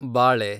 ಬಾಳೆ